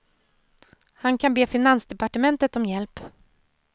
Han kan be finansdepartementet om hjälp.